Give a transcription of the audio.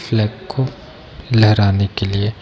Flag को लहराने के लिए।